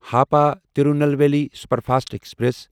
Hapa Tirunelveli superfast express